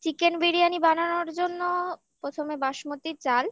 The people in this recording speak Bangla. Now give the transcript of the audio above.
chicken biryani বানানোর জন্য প্রথমে বাসমতি চাল